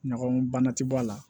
Ɲaga bana ti bɔ a la